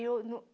Eu no